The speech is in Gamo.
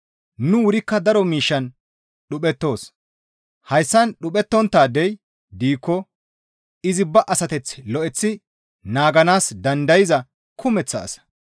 Nu wurikka daro miishshan dhuphettoos. Haasayan dhuphettonttaadey diikko izi ba asateth lo7eththi naaganaas dandayza kumeththa asa.